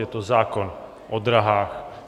Je to zákon o drahách.